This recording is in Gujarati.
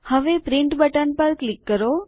હવે પ્રિન્ટ બટન પર ક્લિક કરો